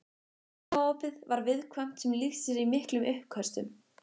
Magaopið var viðkvæmt sem lýsti sér í miklum uppköstum.